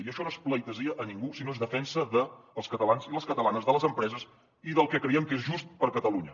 i això no és pleitesia a ningú sinó que és defensa dels catalans i les catalanes de les empreses i del que creiem que és just per catalunya